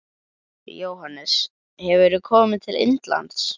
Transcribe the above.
Jóhannes: Hefurðu komið til Indlands?